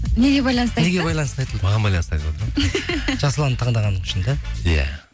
неге байланысты неге байланысты айтылды маған байланысты айтылды жасұлан таңдағаның үшін да иә